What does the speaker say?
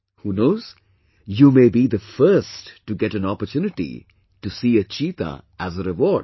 Who knows...you may be the first to get anopportunity to see a cheetah as a reward